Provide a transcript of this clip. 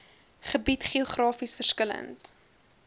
gebied geografies verskillend